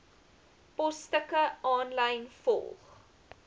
posstukke aanlyn volg